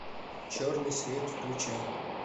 черный свет включай